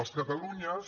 els catalunyes